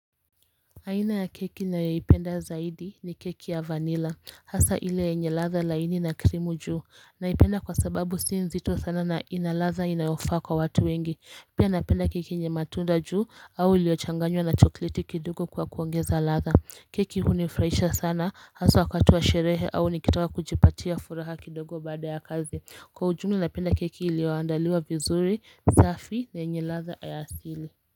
Aina ya keki nayoipenda zaidi ni keki ya vanilla hasa ile yenye ladha laini na krimu juu. Naipenda kwa sababu si nzito sana na ina ladha inayofaa kwa watu wengi. Pia napenda keki yenye matunda juu au uliochanganywa na chokoleti kidogo kwa kuongeza ladha. Keki hunifurahisha sana hasa wakati wa sherehe au nikitaka kujipatia furaha kidogo baada ya kazi. Kwa ujumla napenda keki iliyoandaliwa vizuri, safi, na yenye ladha ya asili.